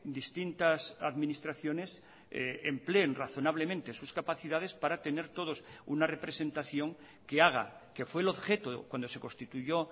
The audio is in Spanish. distintas administraciones empleen razonablemente sus capacidades para tener todos una representación que haga que fue el objeto cuando se constituyó